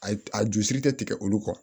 A ju siri tɛ tigɛ olu kɔ